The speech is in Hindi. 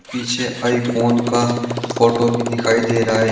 पीछे आईफोन का फोटो भी दिखाई दे रहा है।